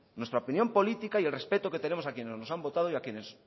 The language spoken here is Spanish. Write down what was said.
nuestra opinión política y el respeto que tenemos a quienes nos han votado y a quienes